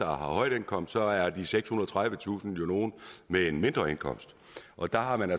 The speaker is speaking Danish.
høj indkomst så er de sekshundrede og tredivetusind jo nogle med en mindre indkomst og der har man